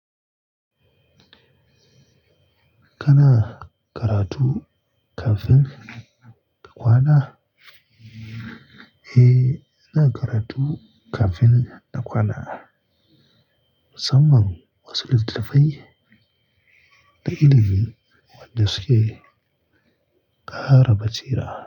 Kana karatu kafin ka kwana? Eh, ina karatu kafin na kwana. Mu samman wasu littattafai da ilimi wanda suke ƙara bacira.